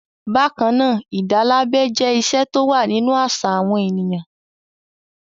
Bákan náà, ìdálábẹ jẹ́ ìṣe tó wà nínú àṣà àwọn ènìyàn.